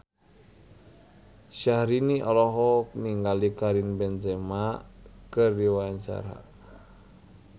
Syahrini olohok ningali Karim Benzema keur diwawancara